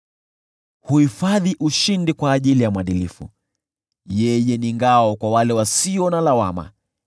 Anahifadhi ushindi kwa ajili ya mwadilifu, yeye ni ngao kwa wale wasio na lawama,